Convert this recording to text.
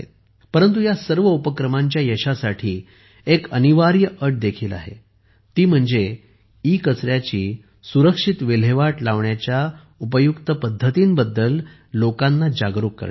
परंतु ह्या सर्व उपक्रमांच्या यशासाठी एक अनिवार्य अट देखील आहे ती म्हणजे ईकचऱ्याची सुरक्षित विल्हेवाट लावण्याच्या उपयुक्त पद्धतींबद्दल लोकांना जागरूक करणे